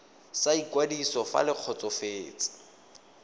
sa ikwadiso fa le kgotsofetse